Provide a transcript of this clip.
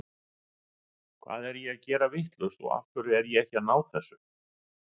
Hvað er ég að gera vitlaust og af hverju er ég ekki að ná þessu?